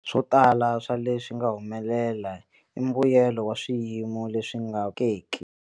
Swo tala swa leswi nga humelela i mbuyelo wa swiyimo leswi nga papalatekiki.